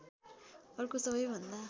अर्को सबैभन्दा